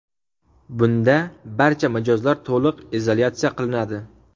Bunda barcha mijozlar to‘liq izolyatsiya qilinadi.